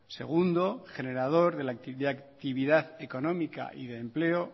segundo generador de actividad económica y de empleo